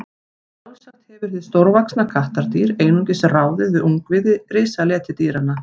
sjálfsagt hefur hið stórvaxna kattardýr einungis ráðið við ungviði risaletidýranna